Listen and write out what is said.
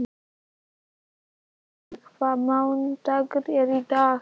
Elínór, hvaða mánaðardagur er í dag?